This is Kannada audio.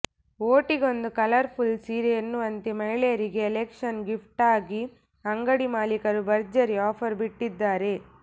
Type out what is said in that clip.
ವೋಟಿಗೊಂದು ಕಲರ್ಫುಲ್ ಸೀರೆ ಎನ್ನುವಂತೆ ಮಹಿಳೆಯರಿಗೆ ಎಲೆಕ್ಷನ್ ಗಿಫ್ಟ್ಗಾಗಿ ಅಂಗಡಿ ಮಾಲೀಕರು ಭರ್ಜರಿ ಆಫರ್ ಬಿಟ್ಟಿದ್ದಾರೆ